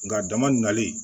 Nka a dama nali